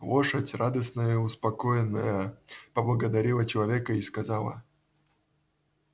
лошадь радостная и успокоенная поблагодарила человека и сказала